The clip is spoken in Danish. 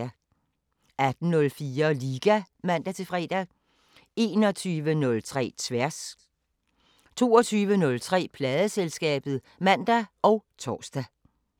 18:04: Liga (man-fre) 21:03: Tværs 22:03: Pladeselskabet (man og tor)